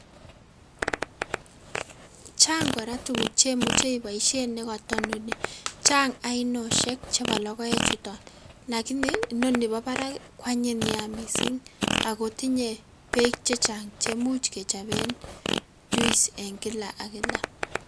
Chang kora tukuk chemuche iboishen nekoto inoni, chang ainoshek chebo lokoe chuton lakini inoni bo barak kwanyiny nea mising akoo tinyee beek chechang cheimuch kechoben juice en kilak ak kilak.